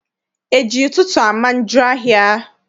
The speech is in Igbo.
E ji ụtụtụ ama njọ ahịa?